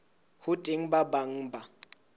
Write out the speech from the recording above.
ho teng ba bang ba